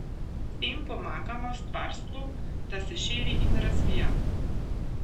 S tem pomagamo Stvarstvu, da se širi in razvija.